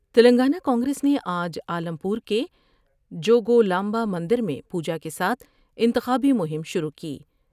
تلنگانہ کانگریس نے آج عالم پور کے جو گولامبا مندر میں پوجاکے ساتھ انتخابی مہم شروع کی ۔